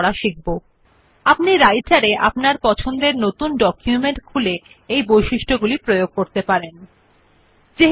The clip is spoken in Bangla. আমরা আগেই শব্দ রিসিউম টাইপ করে পৃষ্ঠার কেন্দ্র থেকে এটি প্রান্তিককৃ we had previously typed the word resume and aligned it to the centre of the page